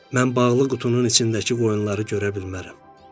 Mən bağlı qutunun içindəki qoyunları görə bilmərəm.